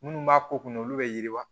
Minnu b'a ko kunna olu bɛ yiriwa